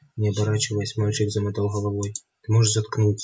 не оборачиваясь мальчик замотал головой ты можешь заткнутся